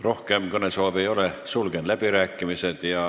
Rohkem kõnesoove ei ole, sulgen läbirääkimised.